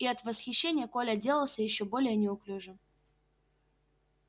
и от восхищения коля делался ещё более неуклюжим